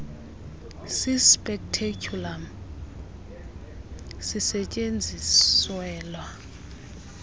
si speculum sisestyenziselwa